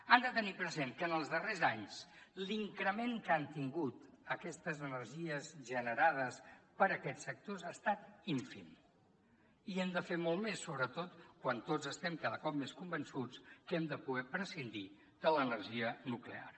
han de tenir present que en els darrers anys l’increment que han tingut aquestes energies generades per aquest sector ha estat ínfim i hi hem de fer molt més sobretot quan tots estem cada cop més convençuts que hem de poder prescindir de l’energia nuclear